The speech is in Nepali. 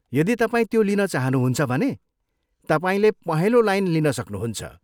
यदि तपाईँ त्यो लिन चाहनुहुन्छ भने, तपाईँले पहेँलो लाइन लिन सक्नुहुन्छ।